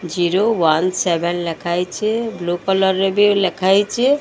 Zero one seven ଲେଖାହେଇଛେ blue colour ରେ ବି ଲେଖାହେଇଛେ।